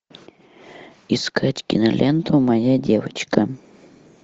искать киноленту моя девочка